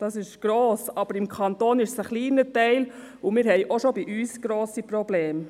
Das ist gross, aber im Kanton ist es ein kleiner Teil, und wir haben auch schon bei uns grosse Probleme.